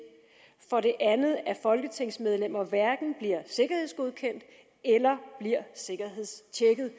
og for det andet at folketingsmedlemmer hverken bliver sikkerhedsgodkendt eller sikkerhedstjekket